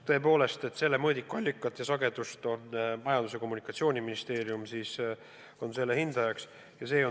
Tõepoolest, selle mõõdiku allikat on hinnanud Majandus- ja Kommunikatsiooniministeerium.